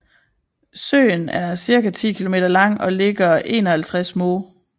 Søen er cirka 10 km lang og ligger 51 moh